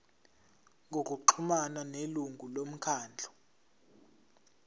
ngokuxhumana nelungu lomkhandlu